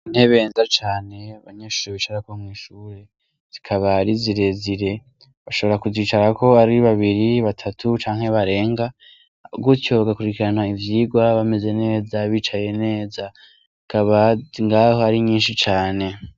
Intebe nziza cane banyeshure bicara ko mw'ishure zikaba ari zirezire bashobora kuzicara ko ari babiri batatu canke barenga .Gutyo bagakurikirana ivyigwa bameze neza bicaye neza ikaba ngaho ari nyinshi cane.